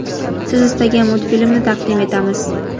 siz istagan multfilmni taqdim etamiz.